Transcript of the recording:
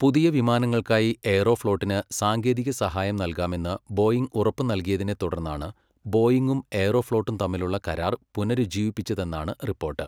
പുതിയ വിമാനങ്ങൾക്കായി എയ്റോഫ്ലോട്ടിന് സാങ്കേതിക സഹായം നൽകാമെന്ന് ബോയിംഗ് ഉറപ്പ് നൽകിയതിനെ തുടർന്നാണ് ബോയിംഗും എയ്റോഫ്ലോട്ടും തമ്മിലുള്ള കരാർ പുനരുജ്ജീവിപ്പിച്ചതെന്നാണ് റിപ്പോർട്ട്.